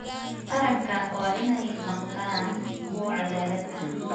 Taranka waa in ay noqdaan kuwo cadaalad ah.